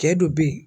Cɛ dɔ be yen